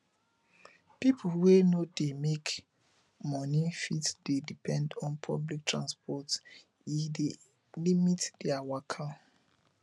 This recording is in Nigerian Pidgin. pipo wey no dey make money fit dey depend on public transport e dey limit their waka